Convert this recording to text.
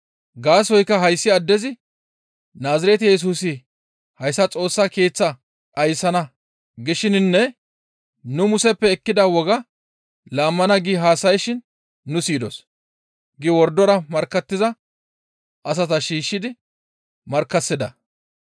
Gaasoykka hayssi addezi, ‹Naazirete Yesusi hayssa Xoossa Keeththaa dhayssana› gishininne ‹Nu Museppe ekkida wogaa laammana› gi haasayshin nu siyidos» gi wordora markkattiza asata shiishshidi markkasida.